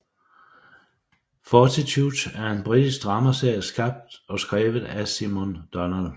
Fortitude er en britisk dramaserie skabt og skrevet af Simon Donald